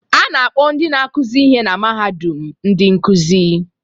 A na-akpọ ndị na-akụzi ihe na mahadum ndị nkuzi